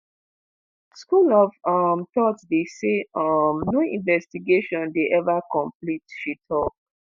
"school of um thought dey say um no investigation dey eva complete" she tok.